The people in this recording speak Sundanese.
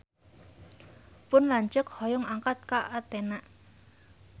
Pun lanceuk hoyong angkat ka Athena